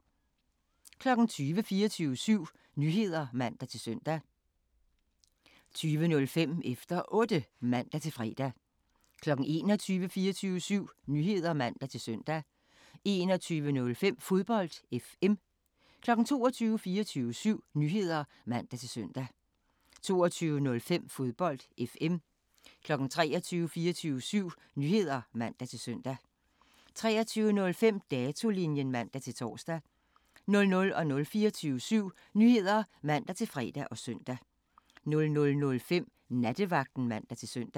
20:00: 24syv Nyheder (man-søn) 20:05: Efter Otte (man-fre) 21:00: 24syv Nyheder (man-søn) 21:05: Fodbold FM 22:00: 24syv Nyheder (man-søn) 22:05: Fodbold FM 23:00: 24syv Nyheder (man-søn) 23:05: Datolinjen (man-tor) 00:00: 24syv Nyheder (man-fre og søn) 00:05: Nattevagten (man-søn)